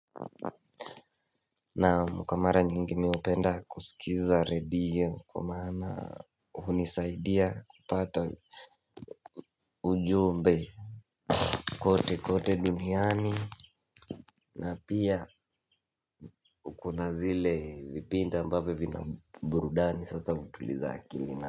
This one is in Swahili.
Naam kwa mara nyingi mi hupenda kusikiza redio kwa maana hunisaidia kupata ujumbe. Kote kote duniani. Na pia na kuna zile vipinde ambavyo vina burudani sasa hutuliza akili na.